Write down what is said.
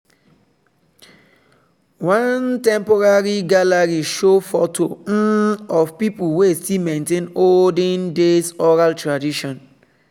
one temporary gallery show photo um of people wey still maintain olden days oral tradition.